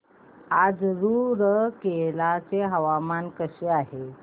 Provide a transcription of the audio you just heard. आज रूरकेला चे हवामान कसे आहे